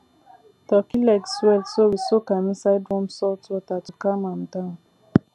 turkey leg swell so we soak am inside warm salt water to calm am down